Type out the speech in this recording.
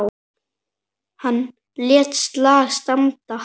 Hann lét slag standa.